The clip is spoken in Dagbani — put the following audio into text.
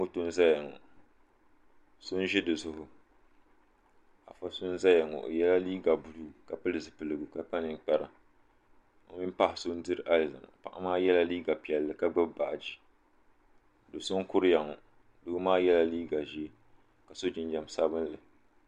Moto n zaya ŋɔ so n ʒi dizuɣu afa so n zaya ŋɔ o yela liiga buluu ka pili zipiligu ka kpa ninkpara o mini paɣa so n diri alizama paɣa maa yela liiga piɛlli ka gbibi baaji do'so n kuriya ŋɔ doo maa yela liiga ʒee ka so jinjiɛm sabinli.